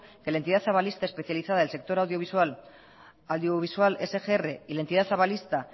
que la entidad avalista especializada en el sector audiovisual sgr y la entidad avalista